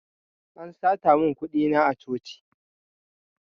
An sata mun kuɗi na a coci